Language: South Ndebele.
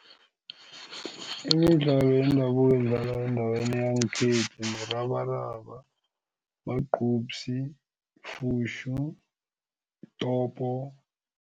Imidlalo yendabuko edlalwa endaweni yangekhethu murabaraba, magqubsi, fushu, topo.